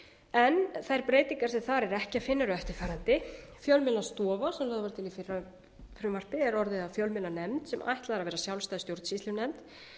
en þær breytingar sem þar er ekki að finna eru eftirfarandi fyrsta fjölmiðlastofa sem lögð var til í fyrra frumvarpi er orðið að fjölmiðlanefnd sem ætlað er að vera sjálfstæð stjórnsýslunefnd